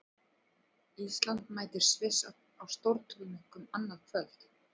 Ísland mætir Sviss í stórleik annað kvöld.